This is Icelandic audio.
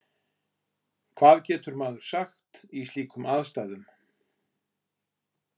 Hvað getur maður sagt í slíkum aðstæðum?